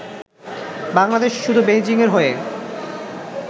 বাংলাদেশ শুধু বেইজিংয়ের হয়ে